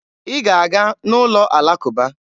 Ị ga-aga n'ụlọ alakụba!